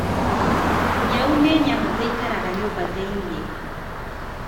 Nyau nĩ nyamũ ĩikaraga nyũmba thĩinĩ.